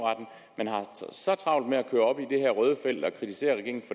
travlt med at køre helt op i det røde felt og kritisere regeringen